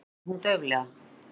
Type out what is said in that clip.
segir hún dauflega.